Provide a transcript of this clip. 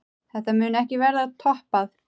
Þetta mun ekki verða toppað.